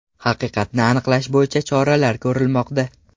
Haqiqatni aniqlash bo‘yicha choralar ko‘rilmoqda.